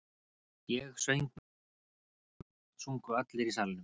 Ég söng með henni og smátt og smátt sungu allir í salnum.